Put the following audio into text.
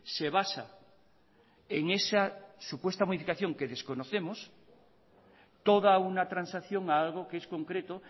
se basa en esa supuesta modificación que desconocemos toda una transacción a algo que es concreto